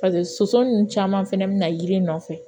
paseke soso nunnu caman fɛnɛ be na yiri nɔfɛ